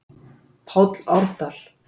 páll árdal